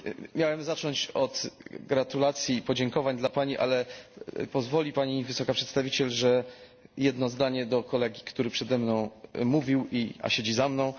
Miałem zacząć od gratulacji i podziękowań dla Pani, ale pozwoli Pani Wysoka Przedstawiciel, że skieruję jedno zdanie do kolegi, który przede mną mówił, a siedzi za mną.